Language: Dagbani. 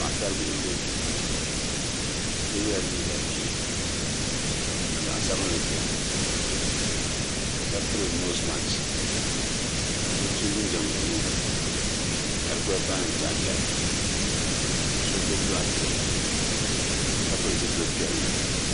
Paɣisaribihi m-be kpe bɛ so yela liiga ʒee ka zaɣ'sabinli beni ka piri noosi makisi ka so so jinjam buluu ka di gbalipina ni chɛhichɛhi ka so gbubi bilaaki boodi ka pili zipili piɛlli.